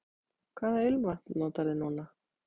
Hvaða ilmvatn notarðu núna?